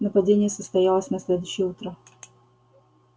нападение состоялось на следующее утро